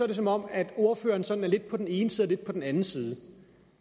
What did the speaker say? det som om ordføreren er sådan lidt på den ene side og lidt på den anden side